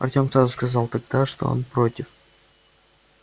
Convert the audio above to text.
артем сразу сказал тогда что он против